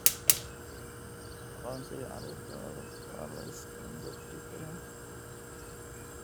Aqoonsiga carruurta waa la iska indhatiri karaa.